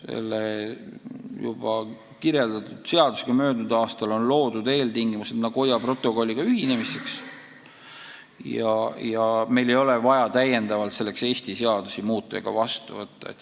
Eelnimetatud seadusega on möödunud aastal loodud eeltingimused Nagoya protokolliga ühinemiseks ja meil ei ole vaja täiendavalt selleks Eesti seadusi muuta ega vastu võtta.